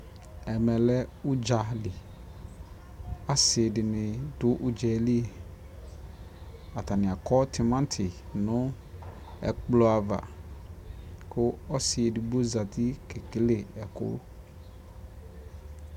ɛmɛlɛ ʋdza li, asii dini dʋ ʋdzali, atani akɔ tʋmati nʋɛkplɔ aɣa kʋ ɔsii ɛdigbɔ zati kɛ kɛlɛ ɛkʋ